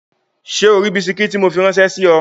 Ṣé o ri bisikí tí mo fi ráńṣẹ́ sí ọ?